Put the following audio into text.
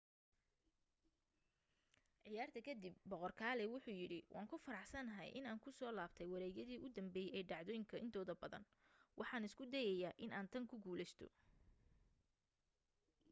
ciyaarta ka dib boqor kalaay wuxu yidhi waan ku faraxsanahay inaan ku soo laabtay wareegyadii u dambeeyay ee dhacdooyinka intooda badan. waxaan isku dayayaa inaan tan ku guuleysto.